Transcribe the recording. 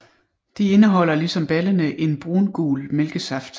De indeholder ligesom baldene en brungul mælkesaft